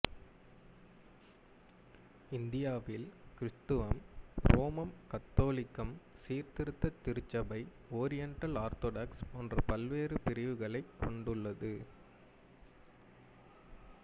இந்தியாவில் கிறித்துவம் ரோமன் கத்தோலிக்கம் சீர்திருத்தத் திருச்சபை ஓரியண்டல் ஆர்த்தடாக்ஸ் போன்ற பல்வேறு பிரிவுகளைக் கொண்டுள்ளது